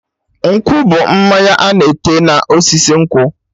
Nkwụ bụ mmanya ana ete na osisi nkwụ